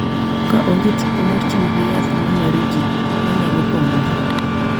Ka onge tipo mar tiyo gi yath ma mero ji ma nyalo pong’ogi.